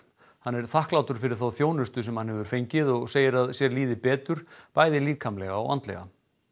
hann er þakklátur fyrir þá þjónustu sem hann hefur fengið og segir að sér líði betur bæði líkamlega og andlega